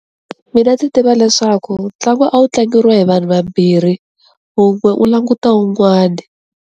Mina ndzi tiva leswaku ntlangu a wu tlangiwa hi vanhu vambirhi wun'we u languta wun'wana.